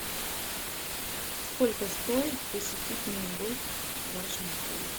сколько стоит посетить мини гольф в вашем отеле